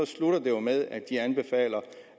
med at de anbefaler